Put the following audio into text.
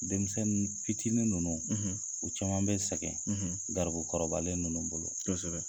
Denmisɛnnin fitiinin ninnu u caman bɛ sɛgɛn garibukɔrɔbabalen ninnu bolo.